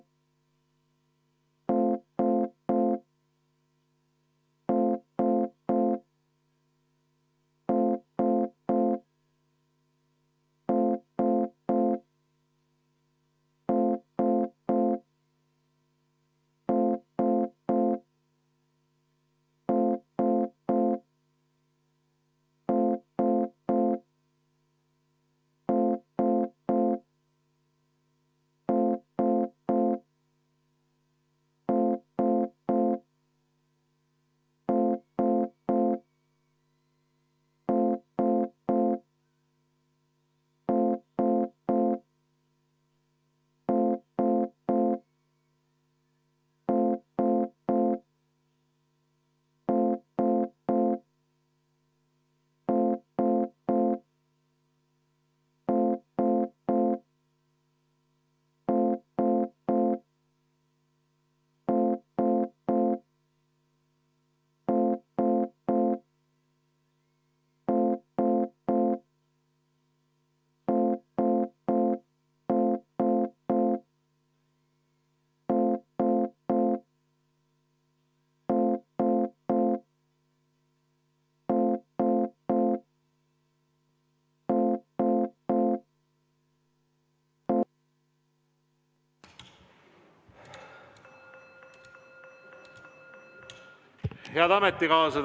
Head ametikaaslased!